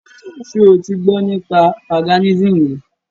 Ṣe o ti gbọ́ nípa Paganism rí?